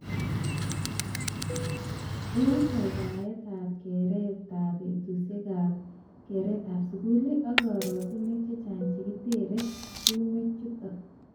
Eng kakataet ap ab keret ab betush ab keret ab sukul ak karatunwek che chang che kiterter tungwek chutok.